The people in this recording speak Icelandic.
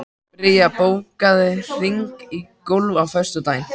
Bría, bókaðu hring í golf á föstudaginn.